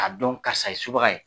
Ka dɔn karisa ye subaga ye